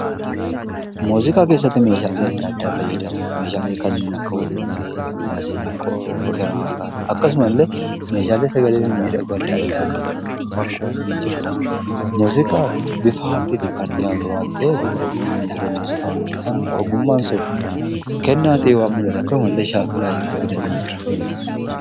Muuziqaa keessatti meeshaalee addaa addaa fayyadamu. Meeshaalee kanneen akka ulullee, maasinqoo, kiraara akkasuma illee meeshaalee sagalee mimmiidhagoo addaa addaa qaban ni jiru. muziqaan bifa aartiitiin kan dhiyaatu waan ta'eef namoonni yeroo muuziqaa hojjetan ogummaan sun kennaa ta'ee kan muldhatu akkasumallee shaakalaan yeroo fidan ni jira.